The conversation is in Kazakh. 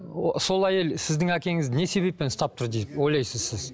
сол әйел сіздің әкеңізді не себеппен ұстап тұр деп ойлайсыз сіз